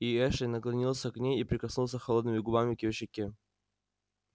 и эшли наклонился к ней и прикоснулся холодными губами к её щеке